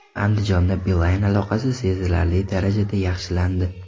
Andijonda Beeline aloqasi sezilarli darajada yaxshilandi.